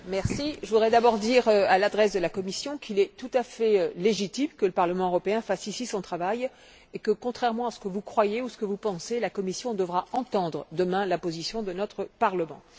Monsieur le Président, je voudrais d'abord dire à l'adresse de la Commission qu'il est tout à fait légitime que le Parlement européen fasse, ici, son travail et que, contrairement à ce que vous croyez ou à ce que vous pensez, la Commission devra entendre demain la position de notre Parlement.